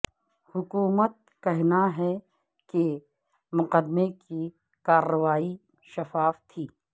حکومت کہنا ہے کہ مقدمے کے کارروائی شفاف تھی